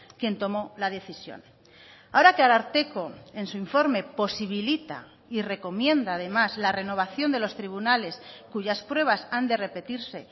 quien tomó la decisión ahora que ararteko en su informe posibilita y recomienda además la renovación de los tribunales cuyas pruebas han de repetirse